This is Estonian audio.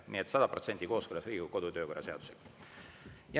Nii et sada protsenti kooskõlas Riigikogu kodu- ja töökorra seadusega.